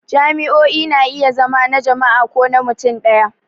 Jami'o'i na iya zama na jama'a ko na mutum ɗaya.